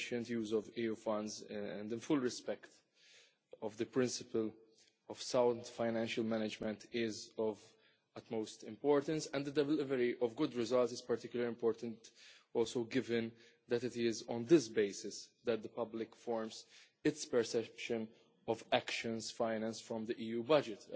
use of EU funds in full respect of the principle of sound financial management is of utmost importance, and the delivery of good results is particularly important also given that it is on this basis that the public forms its perception of actions financed from the EU budget.